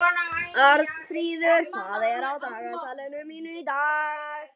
Arnfríður, hvað er á dagatalinu mínu í dag?